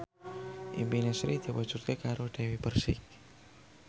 impine Sri diwujudke karo Dewi Persik